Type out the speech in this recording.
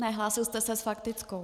Ne, hlásil jste se s faktickou.